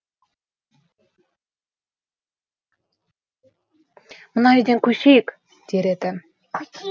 мына үйден көшейік дер еді